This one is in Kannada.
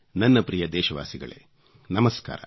ನನ್ನ ಪ್ರಿಯ ದೇಶವಾಸಿಗಳೇ ನಮಸ್ಕಾರ